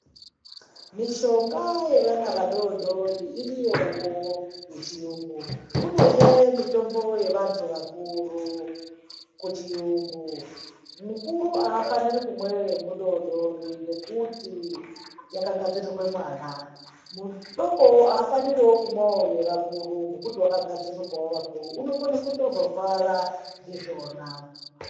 Mishonga yevana vadodori iriyowo kuchiyungu kunezve mitombo yevantu vakuru kuchiyungu mukuru hafaniri kunwa yemudodori ngekuti yakagadzirirwa mwana mudokowo hafanirwi wo kumwawo yevakuru nekuti yakagadzirirwa wo vakuru unokona kuzotorwara ndizvona.